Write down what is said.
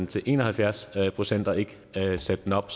til en og halvfjerds procent og ikke sætte den op